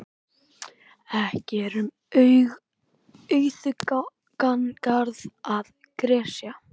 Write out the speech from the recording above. Ekki er um auðugan garð að gresja.